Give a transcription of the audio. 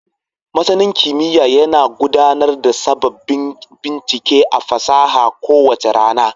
Masanin kimiyya yana gudanar da sababbin bincike da fasaha kowace rana.